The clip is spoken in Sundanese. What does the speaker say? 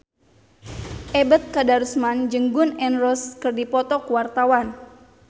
Ebet Kadarusman jeung Gun N Roses keur dipoto ku wartawan